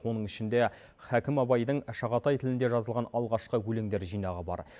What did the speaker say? оның ішінде хакім абайдың шағатай тілінде жазылған алғашқы өлеңдер жинағы бар